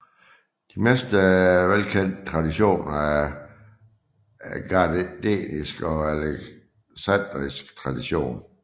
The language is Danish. De mest velkendte traditioner er Gardneriansk og Alexandrinsk tradition